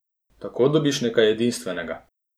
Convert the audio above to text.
Tako dobiš nekaj edinstvenega.